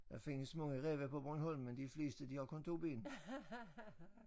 Der findes mange ræve på Bornholm men de fleste de har kun 2 ben